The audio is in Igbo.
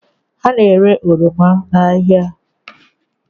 Ha na-ere oroma n'ahịa